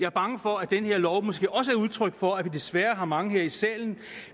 er bange for at den her lov måske også er udtryk for at vi desværre har mange her i salen